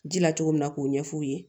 Ji la cogo min na k'o ɲɛf'u ye